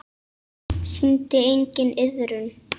Sýndi enginn iðrun?